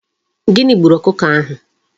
Gini gburu okuko ahu?